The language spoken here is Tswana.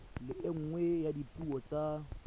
le nngwe ya dipuo tsa